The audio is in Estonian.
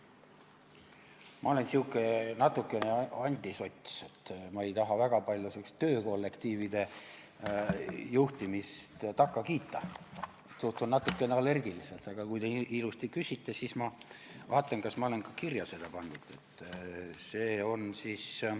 Ma olen natukene antisots, ma ei taha väga palju sihukesele töökollektiivide juhtimisele takka kiita, suhtun sellesse natukene allergiliselt, aga kui te ilusasti küsite, siis ma vaatan, kas ma olen selle ka kirja pannud.